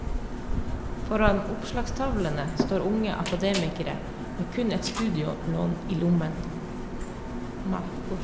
Foran oppslagstavlene står unge akademikere med kun et studielån i lommen.